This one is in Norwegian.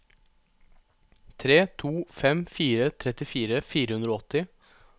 tre to fem fire trettifire fire hundre og åtti